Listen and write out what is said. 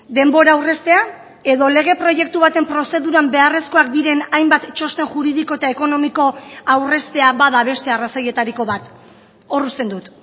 denbora aurreztea edo lege proiektu baten prozeduran beharrezkoak diren hainbat txosten juridiko eta ekonomiko aurreztea bada beste arrazoietariko bat hor uzten dut